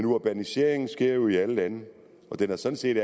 urbaniseringen sker jo i alle lande og den har sådan set